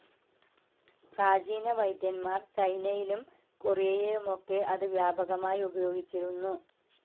പ്രാചീന വൈദ്യന്മാർ ചൈനയിലും കൊറിയയിലുമൊക്കെ അത് വ്യാപകമായി ഉപയോഗിച്ചിരുന്നു.